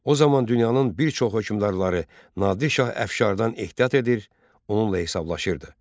O zaman dünyanın bir çox hökmdarları Nadir şah əfşardan ehtiyat edir, onunla hesablaşırdı.